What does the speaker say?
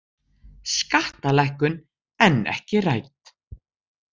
Skattalækkun enn ekki rædd